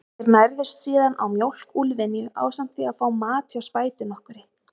Þeir nærðust síðan á mjólk úlfynju, ásamt því að fá mat hjá spætu nokkurri.